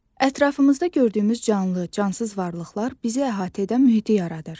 Ətrafımızda gördüyümüz canlı, cansız varlıqlar bizi əhatə edən mühiti yaradır.